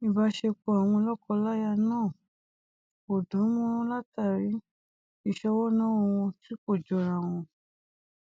ìbáṣepọ àwọn lọkọláya náà kò dánmọrán látàrí ìṣọwọ náwó wọn tí kò jọrawọn